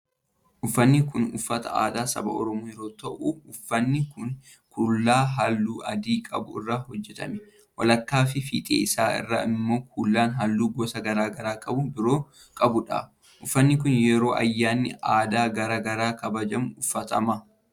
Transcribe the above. Uffanni kun uffata aadaa saba Oromoo yoo ta'u, uffanni kun kuula haalluu adii qabu irraa hojjatamee walakkaa fi fiixee isaa irraa immoo kuula haalluu gosa garaa garaa qaban biroo qabuu dha. Uffanni kun, yeroo ayyaanni aadaa garaa garaa kabajamu uffatama.